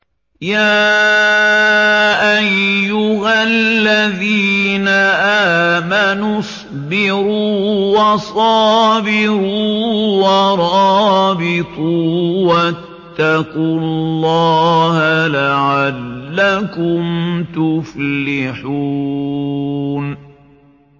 يَا أَيُّهَا الَّذِينَ آمَنُوا اصْبِرُوا وَصَابِرُوا وَرَابِطُوا وَاتَّقُوا اللَّهَ لَعَلَّكُمْ تُفْلِحُونَ